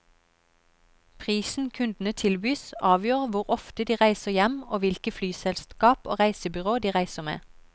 Prisen kundene tilbys, avgjør hvor ofte de reiser hjem og hvilket flyselskap og reisebyrå de reiser med.